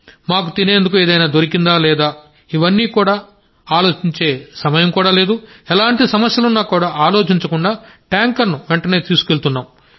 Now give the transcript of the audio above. మాకు తినేందుకు ఏదైనా దొరికిందా లేదా అని కానీ ఎలాంటి సమస్యలున్నా ఆలోచించకుండా ట్యాంకర్ ను వెంటనే తీసుకువెళ్తాం